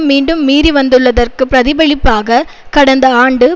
மீண்டும் மீறிவந்துள்ளதற்கு பிரதிபலிப்பாக கடந்த ஆண்டு